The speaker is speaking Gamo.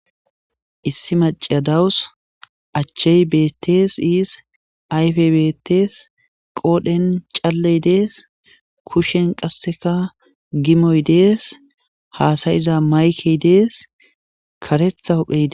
issi macea dawus achchey betees iis ayfe betes qoodhen calley dees kushen qasseka gimoy dees haasayiza maykey dees karetha huphee